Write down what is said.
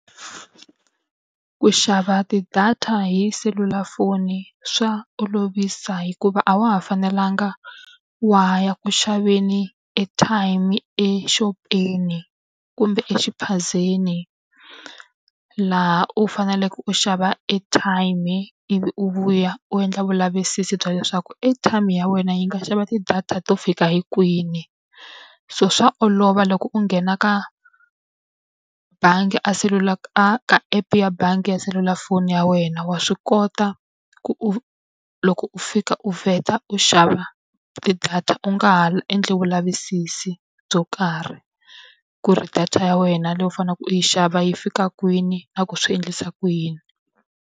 Ku xava ti-data hi selulafoni swa olovisa hikuva a wa ha fanelanga wa ha ya ku xaveni airtime-i exopeni kumbe exiphazeni, laha u faneleke u xava airtime-i ivi u vuya u endla vulavisisi bya leswaku airtime ya wena yi nga xava ti-data to fika hi kwini. So swa olova loko u nghena ka bangi a a ka app ya bangi ya selulafoni ya wena, wa swi kota ku u loko u fika u vheta u xava ti-data u nga ha endli vulavisisi byo karhi. Ku ri data ya wena leyi u faneleke u yi xava yi fika kwini na ku swi endlisa ku yini.